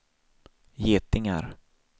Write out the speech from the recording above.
getingar